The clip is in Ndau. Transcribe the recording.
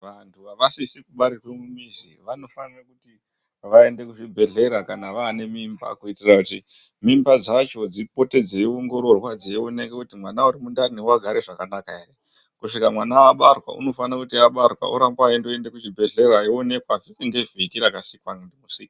Vanhu vasizi kubarirwa mumizi vanofanirwa kuti vaende kuzvibhedhlera kana vaane mimba kutira kuti mimba dzacho dzipote dziongororwe dzionekwa kuti mwana uri mundani wakagara zvakanaka here, kusvika mwana abarwa unofanire kuti abarwa arambe eienda kuzvibhedhlera eionekwa chiki ngevhiki zvakasikwa ndimusiki.